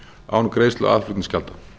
án greiðslu aðflutningsgjalda